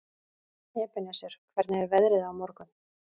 Ebeneser, hvernig er veðrið á morgun?